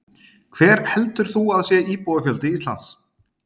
Hver heldur þú að sé íbúafjöldi Íslands?